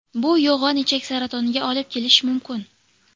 Bu yo‘g‘on ichak saratoniga olib kelish mumkin.